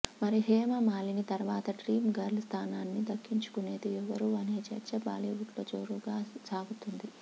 మరి హేమ మాలిని తర్వాత dream girl స్థానాన్ని దక్కించుకునేది ఎవరు అనే చర్చ బాలీవుడ్లో జోరుగా సాగుతోంది